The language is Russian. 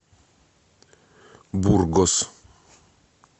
бургос